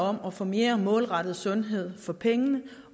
om at få mere målrettet sundhed for pengene